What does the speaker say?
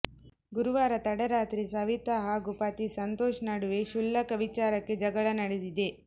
ಗುರುವಾರ ತಡರಾತ್ರಿ ಸವಿತ ಹಾಗೂ ಪತಿ ಸಂತೋಷ್ ನಡುವೆ ಕ್ಷುಲ್ಲಕ ವಿಚಾರಕ್ಕೆ ಜಗಳ ನಡೆದಿದೆ